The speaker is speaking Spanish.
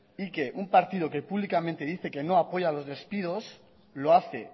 y que un partido que públicamente dice que no apoya a los despidos lo hace